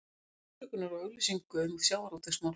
Biðst afsökunar á auglýsingu um sjávarútvegsmál